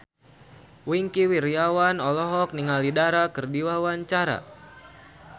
Wingky Wiryawan olohok ningali Dara keur diwawancara